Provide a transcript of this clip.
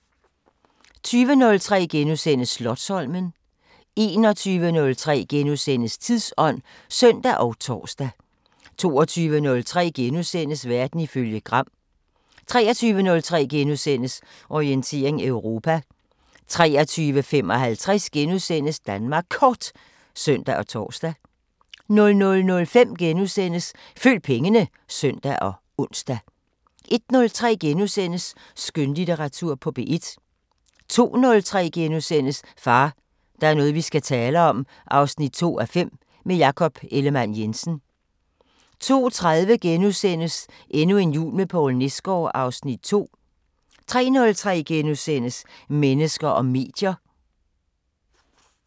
20:03: Slotsholmen * 21:03: Tidsånd *(søn og tor) 22:03: Verden ifølge Gram * 23:03: Orientering Europa * 23:55: Danmark Kort *(søn og tor) 00:05: Følg pengene *(søn og ons) 01:03: Skønlitteratur på P1 * 02:03: Far, der er noget vi skal tale om 2:5 – med Jakob Ellemann-Jensen * 02:30: Endnu en jul med Poul Nesgaard (Afs. 2)* 03:03: Mennesker og medier *